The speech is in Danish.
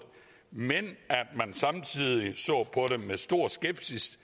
men at man samtidig så på det med stor skepsis